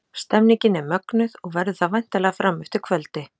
Stemningin er mögnuð og verður það væntanlega fram eftir kvöldi!